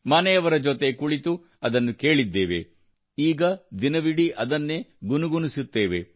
ಮನೆಯವರ ಜೊತೆ ಕೂತು ಅದನ್ನು ಕೇಳಿದ್ದೇವೆ ಈಗ ದಿನವಿಡೀ ಅದನ್ನೇ ಗುನುಗುಣಿಸುತ್ತೇವೆ